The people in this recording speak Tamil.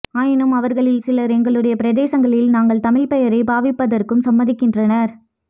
ஆயினும் அவர்களில் சிலர் எங்களுடைய பிரதேசங்களில் நாங்கள் தமிழ்ப் பெயரைப் பாவிப்பதற்கும் சம்மதிக்கின்றனர்